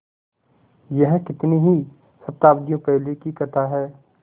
यह कितनी ही शताब्दियों पहले की कथा है